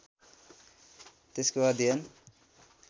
त्यसको अध्ययन